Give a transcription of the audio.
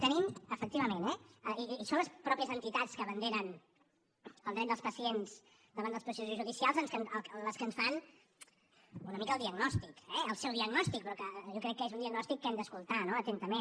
tenim efectivament eh i són les mateixes entitats que abanderen el dret dels pacients davant dels processos judicials les que en fan una mica el diagnòstic eh el seu diagnòstic però que jo crec que és un diagnòstic que hem d’escoltar no atentament